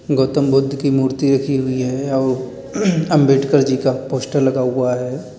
गौतम बुद्ध की मूर्ति रखी हुई है और अंबेडकर जी का पोस्टर लगा हुआ है।